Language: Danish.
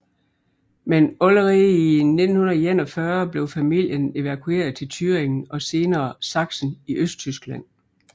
Men allerde i 1941 blev familien evakueret til Thüringen og senere Saksen i Østtyskland